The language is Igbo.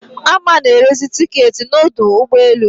Ame na-erezi tiketị n'udu ụgbọelu